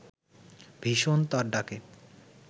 ভীষণ তার ডাকে